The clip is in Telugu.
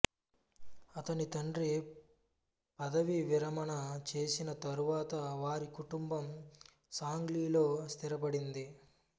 అతని తండ్రి పదవీవిరమణ చేసిన తరువాత వారి కుటుంబం సాంగ్లీలో స్థిరపడింది